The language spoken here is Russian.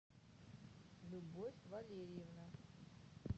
любовь валерьевна